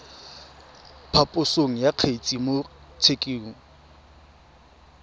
phaposo ya kgetse mo tshekong